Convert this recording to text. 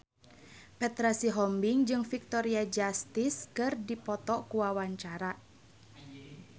Petra Sihombing jeung Victoria Justice keur dipoto ku wartawan